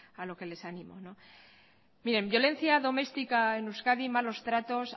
a lo que les animo bien violencia domestica en euskadi malos tratos